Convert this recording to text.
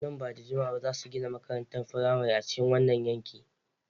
Nan ba da jimawa ba za su gina makarantar firamare a cikin wannan yankin.